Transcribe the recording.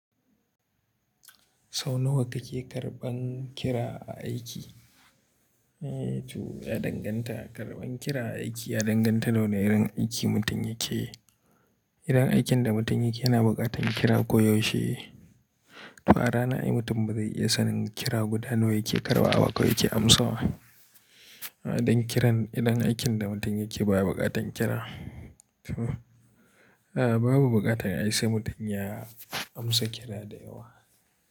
Sau nawa kake karɓan kira a aiki? Toh ya danganta, karɓan kira a aiki ya danganta na wane irin aiki mutum yake. Irin aikin da mutum yake yana buƙatan kira ko yaushe. Toh a rana, ai mutum ba zai iya sanin kira guda nawa yake karɓa ba ko yake amsawa. Don kiran idan aikin da mutum yake ba ya buƙatan kira. Toh, a a babu buƙatan ai sai mutum ya amsa kira da yawa.